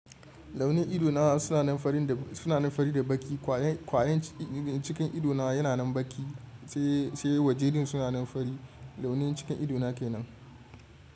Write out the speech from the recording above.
Launi ido na suna nan fari da baƙi. Kwayen cikin ido na yana nan baƙi sai waje dun suna nan fari. Launin cikin ido na ke nan.